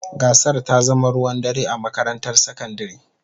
Gasar ta zama ruwan dare a makarantar sakandare.